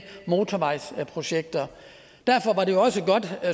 motorvejsprojekter derfor